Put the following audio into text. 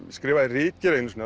skrifaði ritgerð einu sinni